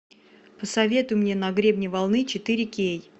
посоветуй мне на гребне волны четыре кей